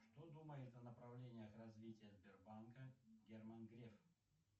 что думает о направлениях развития сбербанка герман греф